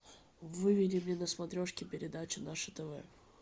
выведи мне на смотрешке передачу наше тв